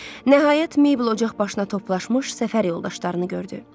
Nəhayət, Maybel ocaq başına toplaşmış səfər yoldaşlarını gördü.